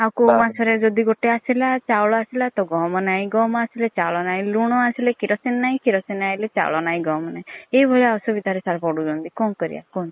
ଆଉ ତ କୋଉ ମାସ ରେ ଯଦି ଗୋଟେ ଆସିଲା ଚାଉଳ ଆସିଲା ତ ଗହମ ନାହିଁ ଗହମ ଆସିଲେ ଚାଉଳ ନାହିଁ ଲୁଣ ଆସିଲେ କିରୋସିନ ନାହିଁ କିରୋସିନେ ଆଇଲେ ଚାଉଳ ନାହିଁ ଗହମ୍ ନାହିଁ ଏଇ ଭଳିଆ ଅସୁବିଧା ରେ sir ପଡୁଛନ୍ତି କଣ କରିଆ କୁହନ୍ତୁ।